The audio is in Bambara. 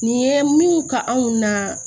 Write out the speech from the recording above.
Nin ye min ka anw na